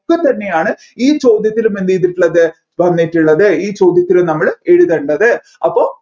തന്നെയാണ് ഈ ചോദ്യത്തിലും എന്ത് ചെയ്തിട്ടുള്ളത് വന്നിട്ടുള്ളത് ഈ ചോദ്യത്തിലും നമ്മൾ എഴുതേണ്ടത് അപ്പോ